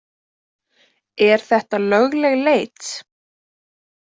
Er þetta lögleg leit?